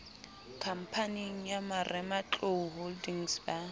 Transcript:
khamphaneng ya marematlou holdings ba